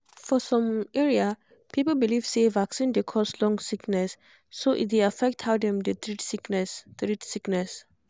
for some area people believe say vaccine dey cause long sickness so e dey affect how dem dey treat sickness treat sickness